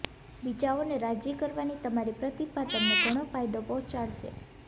બીજાઓ ને રાજી કરવાની તમારી પ્રતિભા તમને ઘણો ફાયદો પહોંચાડશે